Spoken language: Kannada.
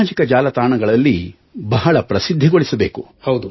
ಸಾಮಾಜಿಕ ಜಾಲತಾಣಗಳಲ್ಲಿ ಬಹಳ ಪ್ರಸಿದ್ಧಿಗೊಳಿಸಬೇಕು